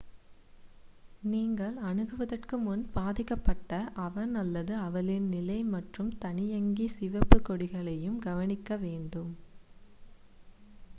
நீங்கள் அணுகுவதற்கு முன் பாதிக்கப்பட்ட அவன் அல்லது அவளின் நிலை மற்றும் தானியங்கி சிவப்புக் கொடிகளையும் கவனிக்க வேண்டும்